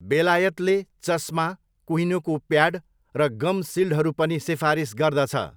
बेलायतले चस्मा, कुहिनोको प्याड र गम सिल्डहरू पनि सिफारिस गर्दछ।